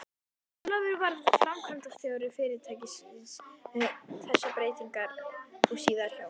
Ólafur varð framkvæmdastjóri fyrirtækisins við þessar breytingar og síðar hjá